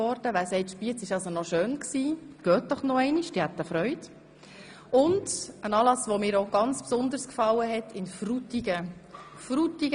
Ein weiterer Anlass, der mir besonders gefiel, fand in Frutigen statt: